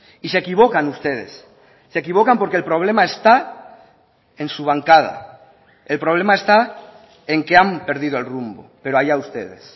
y se equivocan ustedes se equivocan porque el problema está en su bancada el problema está en que han perdido el rumbo pero allá ustedes